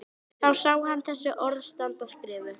Þá sér hann þessi orð standa skrifuð: